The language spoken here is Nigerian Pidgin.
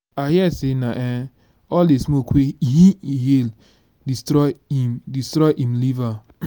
i hear say na um all the smoke wey e inhale destroy im destroy im liver